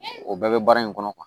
O bɛɛ bɛ baara in kɔnɔ